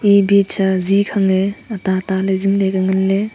bibi kha zine khang e atata le zingley ngan ley.